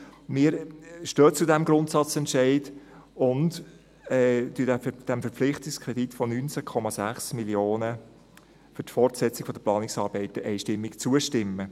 Wir stehen zu diesem Grundsatzentscheid und stimmen dem Verpflichtungskredit von 19,6 Mio. Franken für die Fortsetzung der Planungsarbeiten einstimmig zu.